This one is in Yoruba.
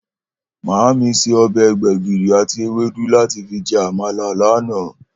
Màámi se o̩bè̩ gbè̩gìrì àti ewédú láti fi je̩ àmàlà lánàá